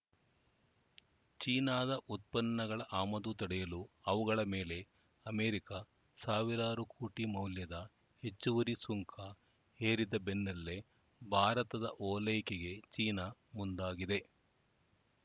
ಚೀನಾದ ಉತ್ಪನ್ನಗಳ ಆಮದು ತಡೆಯಲು ಅವುಗಳ ಮೇಲೆ ಅಮೇರಿಕ ಸಾವಿರಾರು ಕೋಟಿ ಮೌಲ್ಯದ ಹೆಚ್ಚುವರಿ ಸುಂಕ ಹೇರಿದ ಬೆನ್ನಲ್ಲೇ ಭಾರತದ ಓಲೈಕೆಗೆ ಚೀನಾ ಮುಂದಾಗಿದೆ